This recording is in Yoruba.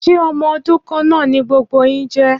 Ṣé ọmọ odún kan naa ni gbogbo yín je